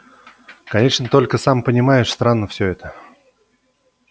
конечно только сам понимаешь странно все это